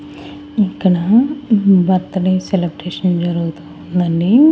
ఇక్కడ birthday celebration జరుగుతూ ఉందండి.